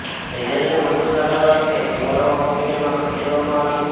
સેજલને વધુ સારવાર અર્થે કુવાડવા હોસ્પિટલમાં ખસેડવામાં આવી છે